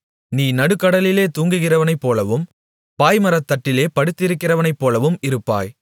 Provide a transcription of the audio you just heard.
நீ நடுக்கடலிலே தூங்குகிறவனைப்போலவும் பாய்மரத்தட்டிலே படுத்திருக்கிறவனைப்போலவும் இருப்பாய்